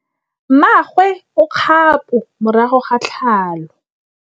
Mmagwe o kgapô morago ga tlhalô.